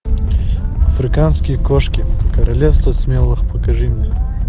африканские кошки королевство смелых покажи мне